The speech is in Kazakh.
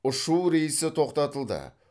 ұшу рейсі тоқтатылды